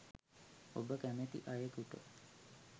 ඔබ කැමති අයෙකුට